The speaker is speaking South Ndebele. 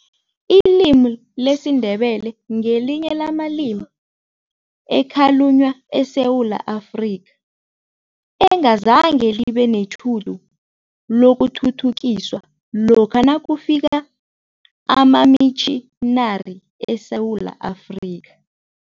Ilimi lesiNdebele ngelinye lamalimi ekhalunywa eSewula Afrika, engazange libe netjhudu lokuthuthukiswa lokha nakufika amamitjhinari eSewula Afrika.